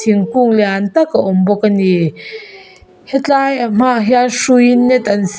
thingkung lian tak a awm bawk ani hetlai ahma ah hian hrui in net an--